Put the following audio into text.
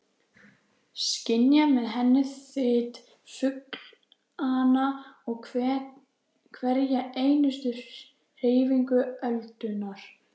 Skynja með henni þyt fuglanna og hverja einustu hreyfingu öldunnar.